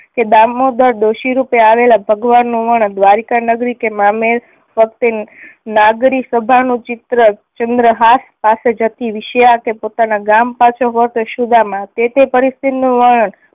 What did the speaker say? કે દામોદર ડોસી રૂપે આવેલા ભગવાન નું વર્ણન, દ્વારિકા નગરી કે મામેરા વખતે નાગરી સભા નું ચિત્ર, ચંદ્રહાસ પાસે જતી વિષ્યા કે પોતાના ગામ પાસે હોતા સુદામા તે તે પરિસ્થિતિ નું વર્ણન